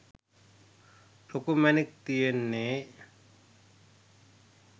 ලොකු මැණික් තියෙන්නේ.